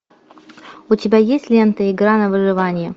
у тебя есть лента игра на выживание